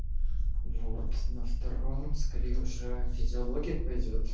вот на втором скрижаль физиология пойдёт